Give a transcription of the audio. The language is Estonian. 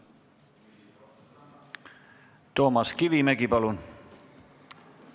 Toomas Kivimägi, palun!